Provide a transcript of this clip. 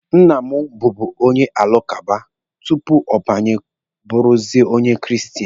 Nna m bubu onye alakụba tupu ọ gbanwe bụrụzie onye kristen.